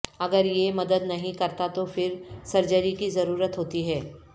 اگر یہ مدد نہیں کرتا تو پھر سرجری کی ضرورت ہوتی ہے